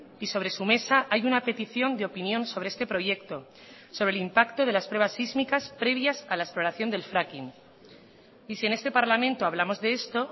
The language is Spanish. y sobre su mesa hay una petición de opinión sobre este proyecto sobre el impacto de las pruebas sísmicas previas a la exploración del fracking y si en este parlamento hablamos de esto